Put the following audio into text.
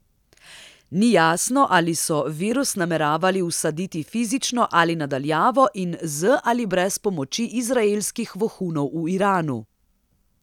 Ni jasno, ali so virus nameravali vsaditi fizično ali na daljavo in z ali brez pomoči izraelskih vohunov v Iranu.